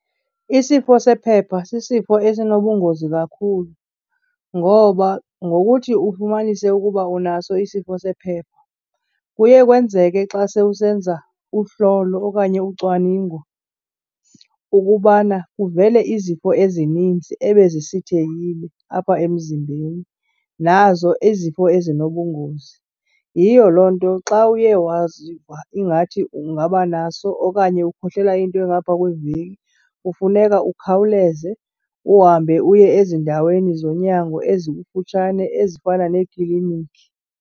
Isifo sephepha sisifo esinobungozi kakhulu, ngoba ngokuthi ufumanise ukuba unaso isifo sephepha kuye kwenzeke xa sewusenza uhlolo okanye ucwaningo ukubana kuvele izifo ezininzi ebezisithekile apha emzimbeni, nazo izifo ezinobungozi. Yiyo loo nto xa uye waziva ingathi ungaba naso okanye ukhohlela into engapha kweveki kufuneka ukhawuleze uhambe uye ezindaweni zonyango ezikufutshane, ezifana neeklinikhi.